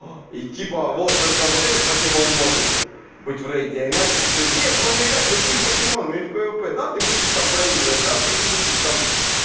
и типа вот только вот этот покемон может быть в рейде иначе все нет можно играть любым покемоном и в пвп да ты будешь там поиграть да ты не будешь там